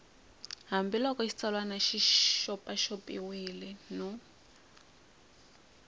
hambiloko xitsalwana xi xopaxopiwile no